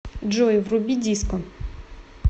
джой вруби диско